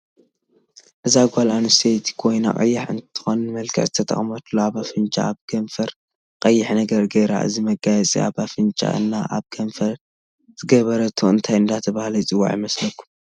እዛ ጋል ኣንሰተይቲ ኮይና ቀያሕ እንትትኮን ንመመለክዕ ዝተጠቅመትሉ ኣብ ኣፍንጫ ኣብ ክንፈረ ቀይሕ ነገር ገይራ እዚ መጋየፂ ኣብ ኣፍንጫ እና ኣብ ክፈረ ዝገ በረቶ እንታይ እዳተበሃለ ይፅዋዕ ይመስለኩም?